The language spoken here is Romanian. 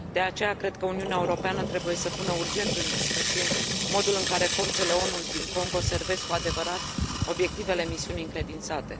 De aceea, cred că Uniunea Europeană trebuie să pună urgent în discuție modul în care forțele ONU din Congo servesc cu adevărat obiectivele misiunii încredințate.